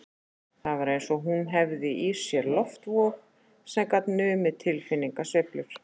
Það var eins og hún hefði í sér loftvog sem gat numið tilfinningasveiflur